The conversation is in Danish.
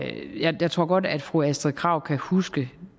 jeg tror godt at fru astrid krag kan huske